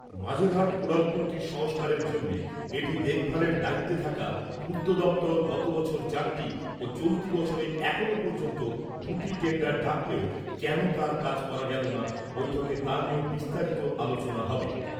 মাঝেরহাট উড়ালপুলটির সংস্কারের জন্যে, এটি দেখভালের দায়িত্বে থাকা পূর্ত দপ্তর গত বছর চারটি ও চলতি বছরে এখনও পর্যন্ত দু'টি টেন্ডার ডাকলেও কেন তার কাজ করা গেল না , বৈঠকে তা নিয়েও বিস্তারিত আলোচনা হবে ।